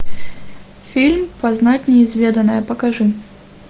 фильм познать неизведанное покажи